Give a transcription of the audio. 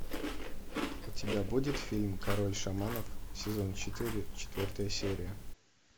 у тебя будет фильм король шаманов сезон четыре четвертая серия